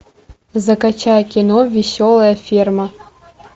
закачай кино веселая ферма